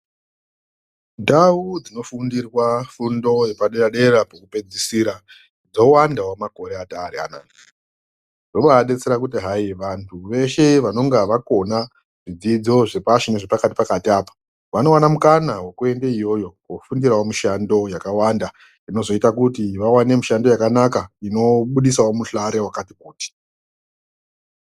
Ndau dzinofundirwa fundo yepadera-dera pekupedzisira dzowandawo makore atari anaa. Zvobadetsera kuti hai vantu veshe vanonga vakona zvidzidzo zvepashi nezvepakati-pakati apa ,vanowana mukana wekuenda iyoyo kofundirawo mishando yakawanda .Zvinozoita kuti vawane mishando yakanaka inobudisawo muhlare wakati -kuti.